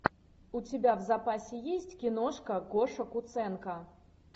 у тебя в запасе есть киношка гоша куценко